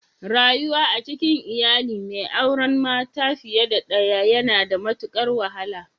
Rayuwa a cikin iyali mai auren mata fiye da daya yana da matukar wahala.